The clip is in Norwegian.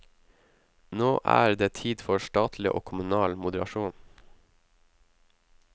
Nå er det tid for statlig og kommunal moderasjon.